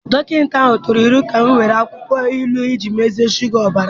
Dọkịta ahụ tụrụ aro ka ị were akwụkwọ ilu iji mezie shuga ọbara m